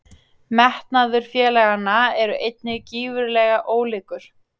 Metnaður félaganna eru einnig gífurlega ólíkur.